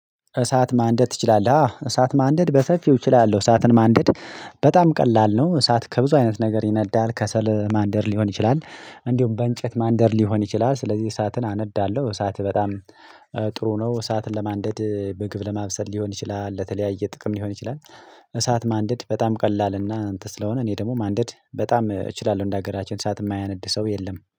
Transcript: እሳት ማንደድ ትችላለህ? አዎ እሳት ማንደድ በሰፊው እችላለሁ እሳትን ማንደድ በጣም ቀላል ነው እሳት ከብዙ አይነት ነገር ይነዳል ከሰል ማንደድ ሊሆን ይችላል እንዲሁም በእንጨት ማንደድ ሊሆን ይችላል ስለዚህ እሳትን አነዳለሁ እሳት በጣም ጥሩ ነው እሳትን ለማንደድ ምግብ ለማብሰል ሊሆን ይችላል ለተለያየ ጥቅም ሊሆን ይችላል እሳት ማንደድ በጣም ቀላል እና አንትን ስለሆነ እኔ ደግሞ ማንደድ በጣም እችላለሁ እንደ ሀገራችን እሳት የማያነድ ሰው የለም